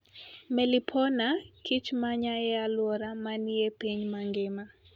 Melipona (kich ma Nya e Alwora ma Ni e Piny Mangima)